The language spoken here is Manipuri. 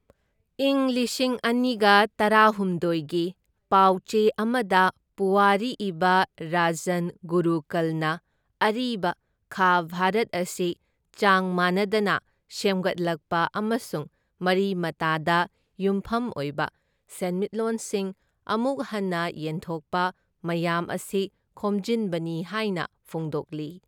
ꯢꯪ ꯂꯤꯁꯤꯡ ꯑꯅꯤꯒ ꯇꯔꯥꯍꯨꯝꯗꯣꯢꯒꯤ ꯄꯥꯎ ꯆꯦ ꯑꯃꯗ ꯄꯨꯋꯥꯔꯤ ꯏꯕ ꯔꯖꯟ ꯒꯨꯔꯨꯀꯜꯅ ꯑꯔꯤꯕ ꯈꯥ ꯚꯥꯔꯠ ꯑꯁꯤ ꯆꯥꯡ ꯃꯥꯅꯗꯅ ꯁꯦꯝꯒꯠꯂꯛꯄ ꯑꯃꯁꯨꯡ ꯃꯔꯤ ꯃꯇꯥꯗ ꯌꯨꯝꯐꯝ ꯑꯣꯏꯕ ꯁꯦꯟꯃꯤꯠꯂꯣꯟꯁꯤꯡ ꯑꯃꯨꯛ ꯍꯟꯅ ꯌꯦꯟꯊꯣꯛꯄ ꯃꯌꯥꯝ ꯑꯁꯤ ꯈꯣꯝꯖꯤꯟꯕꯅꯤ ꯍꯥꯏꯅ ꯐꯣꯡꯗꯣꯛꯂꯤ꯫